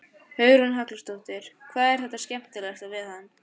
Hugrún Halldórsdóttir: Hvað er það skemmtilegasta við hann?